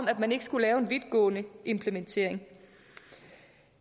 at man ikke skulle lave en vidtgående implementering